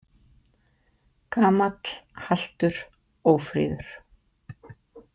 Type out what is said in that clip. Gamall, haltur, ófríður.